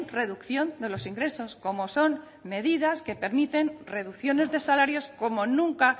reducción de los ingresos como son medidas que permiten reducciones de salarios como nunca